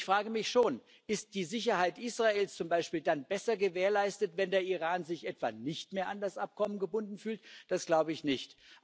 Und ich frage mich schon Ist die Sicherheit Israels zum Beispiel dann besser gewährleistet, wenn der Iran sich etwa nicht mehr an das Abkommen gebunden fühlt? Das glaube ich nicht.